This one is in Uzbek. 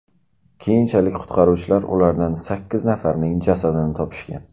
Keyinchalik qutqaruvchilar ulardan sakkiz nafarining jasadini topishgan.